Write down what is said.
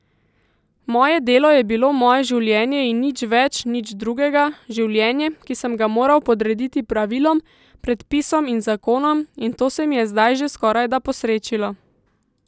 Moje delo je bilo moje življenje in nič več, nič drugega, življenje, ki sem ga moral podrediti pravilom, predpisom in zakonom, in to se mi je zdaj že skorajda posrečilo.